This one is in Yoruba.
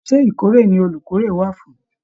Ṣe ìkórè ní olukórè wà fún?